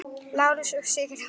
Lárus og Sigrún.